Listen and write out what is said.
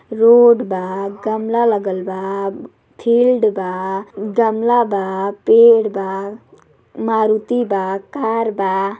Road बा गमला लागल बा फील्ड बा गमला बा पेड़ बा मारुति बा कार बा।